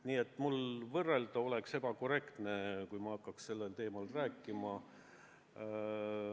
Nii et mul oleks ebakorrektne võrrelda, kui ma hakkaks sellel teemal rääkima.